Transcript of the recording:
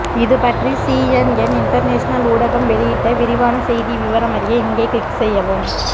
இதுபற்றி CNN international ஊடகம் வெளியிட்ட விரிவான செய்தி விவரம் அறிய இங்கே கிளிக் செய்யவும்